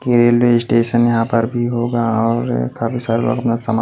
यह railway station यहां पर भी होगा और काफी सारे लोग अपना सामान --